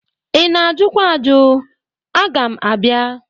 I na-ajụkwa ajụ? Aga m abịa.